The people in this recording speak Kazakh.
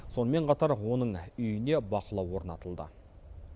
сонымен қатар оның үйіне бақылау орнатылды